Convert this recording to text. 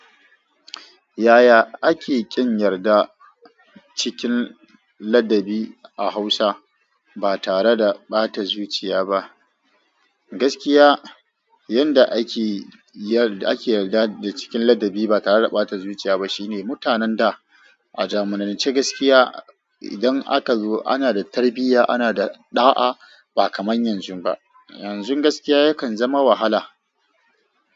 Yaya ake ƙin yarda cikin ladabi a Hausa ba tare da ɓata zuciya ba? Gaskiya, yanda ake yarda da cikin ladabi ba tare da ɓata zuciya ba shine mutanen da a zamanance gaskiya idan aka zo ana da tarbiyya, ana da ɗa'a ba kamar yanzu ba. Yanzu gaskiya yakan zama wahala.